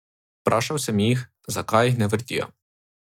Vprašal sem jih, zakaj jih ne vrtijo.